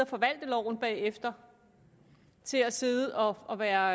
forvalte loven bagefter til at sidde og være